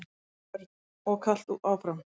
Björn: Og kalt áfram?